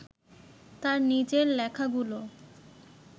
তার নিজের লেখাগুলো